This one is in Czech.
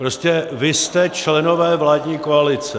Prostě vy jste členové vládní koalice.